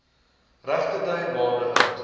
regterdy maande oud